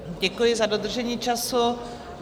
Děkuji za dodržení času.